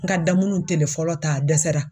N ka damunnu telefɔlɔ ta a dɛsɛra.